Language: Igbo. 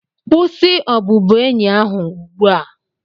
kwụsị obubuenyi ahụ ugbu a!